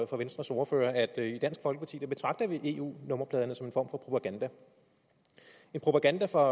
for venstres ordfører at at i dansk folkeparti betragter vi eu nummerpladerne som for propaganda en propaganda for